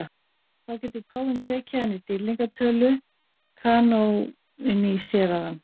Þá getur páfinn tekið hann í dýrlingatölu, kanóníserað hann.